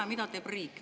Ja mida teeb riik?